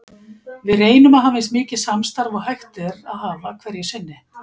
Við reynum að hafa eins mikið samstarf og hægt er að hafa hverju sinni.